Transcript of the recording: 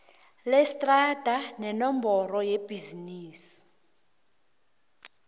lestrada nenomboro yebhizinisi